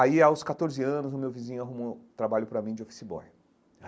Aí, aos catorze anos, o meu vizinho arrumou um trabalho para mim de office boy.